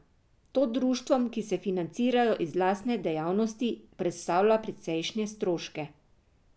To društvom, ki se financirajo iz lastne dejavnosti, predstavlja precejšnje stroške.